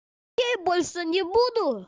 ей больше не буду